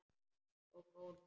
Og gónir.